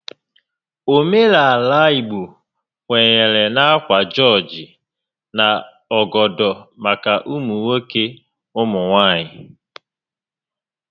Óménàalà igbo kwenyere ákwà jọọjị na ọgọdọ maka ụmụ nwoke ụmụ nwaanyị